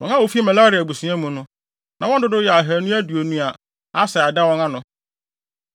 Wɔn a wofi Merari abusua mu no, na wɔn dodow yɛ ahannu aduonu (220), a Asaia da wɔn ano.